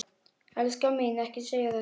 Elskan mín, ekki segja þetta!